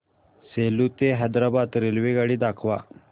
सेलू ते हैदराबाद रेल्वेगाडी दाखवा